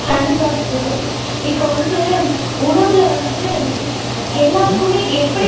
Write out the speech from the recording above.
கண்டிப்பாக குரு இப்ப வந்து உணவுல வந்து எல்லாருக்குமே இது எப்படி